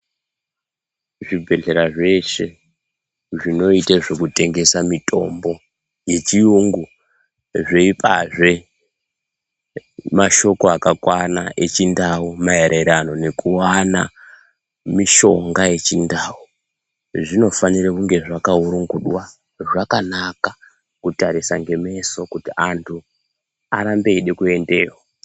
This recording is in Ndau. Zvibhedhlera zveshe zvinoita zvekutengesa mitombo yechiyungu zveipazve mashoko akakwana echindau maererano nekuwana mishonga yechindau. Zvinofanira kunge zvakaurungudwa zvakanaka kutarisa ngemeso kuti antu arambe eida kuendeyo.